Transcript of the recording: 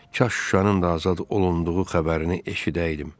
Kaş Şuşanın da azad olunduğu xəbərini eşidəydim.